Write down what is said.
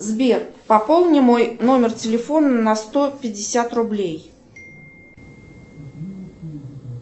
сбер пополни мой номер телефона на сто пятьдесят рублей